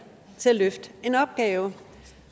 til at løfte en opgave